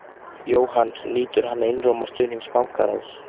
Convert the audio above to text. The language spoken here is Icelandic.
Jóhann: Nýtur hann einróma stuðnings bankaráðs?